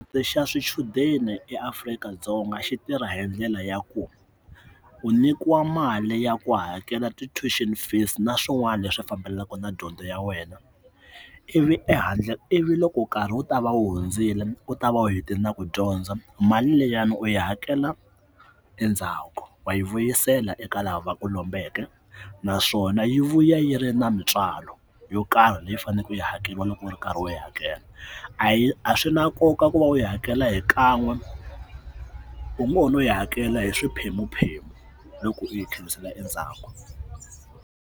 Xa xichudeni eAfrika-Dzonga xi tirha hi ndlela ya ku u nyikiwa mali ya ku hakela ti toll xin fees na swin'wana leswi fambelaku na dyondzo ya wena ivi ehandle ivi loko nkarhi wu ta va u hundzile u ta va u hetelela ku dyondza mali leyiwani u yi hakela endzhaku wa yi vuyisela eka laha va ku lombeke naswona yi vuya yi ri na mintswalo yo karhi leyi faneleke u yi hakeriwa loko u ri karhi u yi hakela a hi a swi na nkoka ku va u yi hakela hi kan'we u ngo no yi hakela hi swiphemu phemu loko ri yi tlherisela endzhaku.